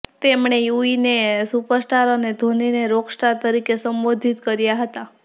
તેમણે યુવીને સુપરસ્ટાર અને ધોનીને રોકસ્ટાર તરીકે સંબોધિત કર્યા હતા